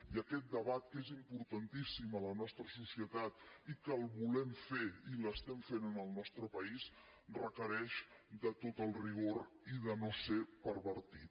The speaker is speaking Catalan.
i aquest debat que és importantíssim a la nostra societat i que el volem fer i l’estem fent en el nostre país requereix de tot el rigor i de no ser pervertit